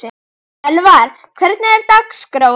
Elvar, hvernig er dagskráin?